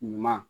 Ɲuman